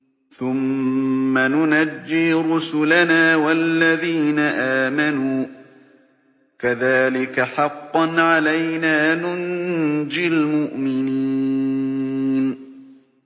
ثُمَّ نُنَجِّي رُسُلَنَا وَالَّذِينَ آمَنُوا ۚ كَذَٰلِكَ حَقًّا عَلَيْنَا نُنجِ الْمُؤْمِنِينَ